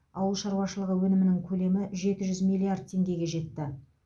ауыл шаруашылығы өнімінің көлемі жеті жүз миллиард теңгеге жетті